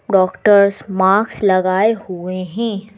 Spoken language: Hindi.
डॉक्टर्स मार्क्स लगाए हुए हैं।